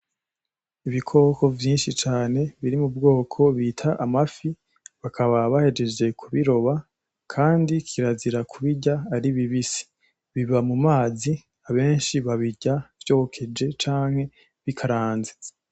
Ibikoko vyinshi cane biri mu bwoko bita amafi bakaba bahejeje kubiroba kandi kirazira kubirya ari bibisi biba mumazi abenshi babirya vyokeje canke bikaranze.